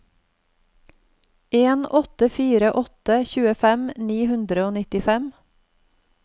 en åtte fire åtte tjuefem ni hundre og nittifem